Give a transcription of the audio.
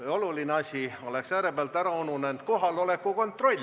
Üks oluline asi oleks äärepealt ära ununenud – kohaloleku kontroll.